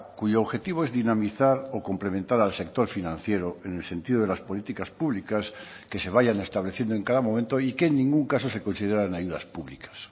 cuyo objetivo es dinamizar o complementar al sector financiero en el sentido de las políticas públicas que se vayan estableciendo en cada momento y que en ningún caso se consideran ayudas públicas